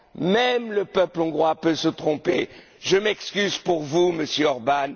Même le peuple hongrois peut se tromper! Je m'excuse pour vous, Monsieur Orbán